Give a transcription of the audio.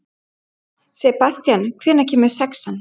Sebastían, hvenær kemur sexan?